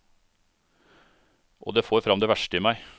Og det får fram det verste i meg.